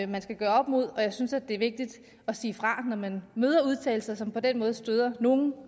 man skal gøre op med jeg synes det er vigtigt at sige fra når man møder udtalelser som på den måde støder nogen